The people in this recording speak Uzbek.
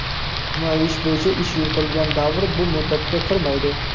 Jinoiy ish bo‘yicha ish yuritilgan davr bu muddatga kirmaydi.